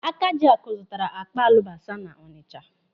Akajiaku zụtara akpa alụbasa n'Ọnịcha.